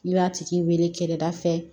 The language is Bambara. I b'a tigi wele kɛrɛda fɛ